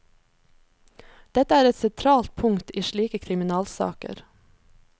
Dette er et sentralt punkt i slike kriminalsaker.